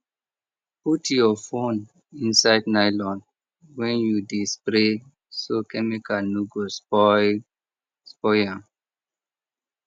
put your phone inside nylon when you dey spray so chemical no go spoil spoil am